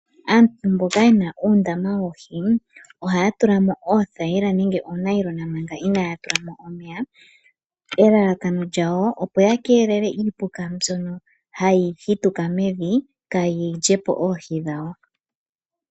Aantu mboka yena uundama woohi ohaya tulamo oothaila nenge oonayilona manga inaya tulamo omeya. Elalakano lyawo opo ya keelele iipuka mbyono hayi hituka mevi kayi lyepo oohi dhawo.